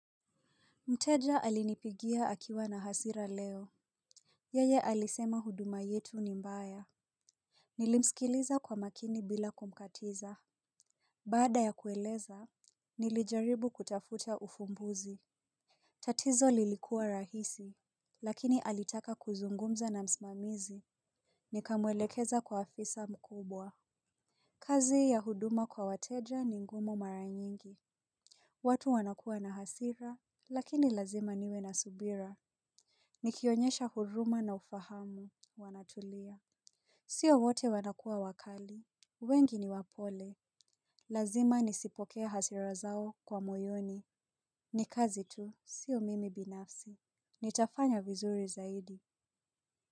Mteja alinipigia akiwa na hasira leo. Yeye alisema huduma yetu ni mbaya. Nilimsikiliza kwa makini bila kumkatiza. Baada ya kueleza nilijaribu kutafuta ufumbuzi. Tatizo lilikua rahisi lakini alitaka kuzungumza na msimamizi. Nikamwelekeza kwa afisa mkubwa. Kazi ya huduma kwa wateja ni ngumu mara nyingi. Watu wanakua na hasira lakini lazima niwe na subira. Nikionyesha huruma na ufahamu, wanatulia. Sio wote wanakua wakali, wengi ni wapole. Lazima nisipokee hasira zao kwa moyoni. Ni kazi tu, sio mimi binafsi Nitafanya vizuri zaidi.